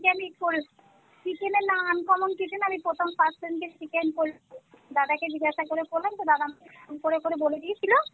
chicken এর না uncommon কি যেন আমি প্রথম first যেদিন chicken করলাম দাদাকে জিজ্ঞাসা করে করলাম তো দাদা আমাকে phone করে করে বলে দিয়েছিলো